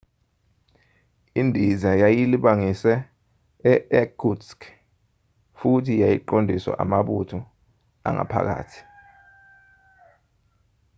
indiza yayilibangise e-irkutsk futhi yayiqondiswa amabutho angaphakathi